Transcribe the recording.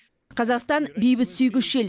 қазақстан бейбітсүйгіш ел